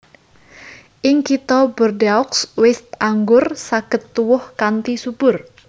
Ing Kitha Bordeaux wit anggur saged tuwuh kanthi subur